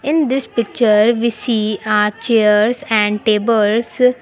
In this picture we see a chairs and tables.